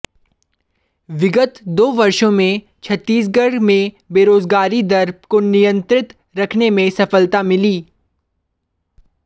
विगत दो वर्षो में छत्तीसगढ़ में बेरोजगारी दर को नियंत्रित रखने में सफलता मिली